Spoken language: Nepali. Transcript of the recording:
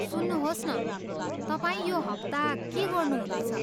सुन्नुहोस् न, तपाईँ यो हप्ता के गर्नु हुँदैछ?